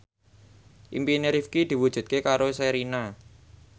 impine Rifqi diwujudke karo Sherina